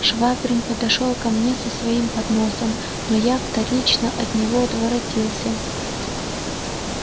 швабрин подошёл ко мне с своим подносом но я вторично от него отворотился